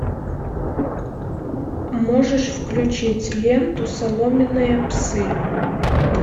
можешь включить ленту соломенные псы